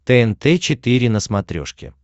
тнт четыре на смотрешке